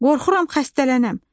Qorxuram xəstələnəm.